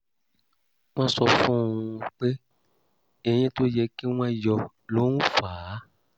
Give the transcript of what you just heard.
wọ́n sọ fún un pé eyín tó yẹ kí wọ́n yọ ló ń fà á